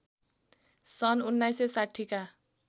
सन् १९६० का